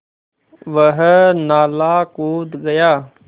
वह नाला कूद गया